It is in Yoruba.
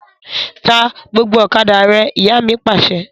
Ta gbogbo ọ̀kadà rẹ! Ìyá mi Pàṣẹ.